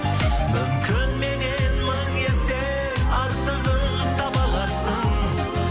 мүмкін меннен мың есе артығын таба аларсың